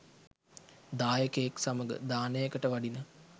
දායකයෙක් සමඟ දානයකට වඩින